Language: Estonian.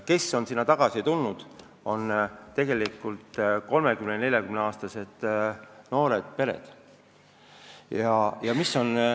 Sinna on elama asunud 30–40-aastaste noorte inimeste pered.